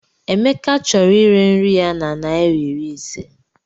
Emeka chọrọ ire nri ya na naira iri ise.